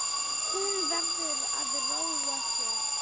Hún verður að róa sig.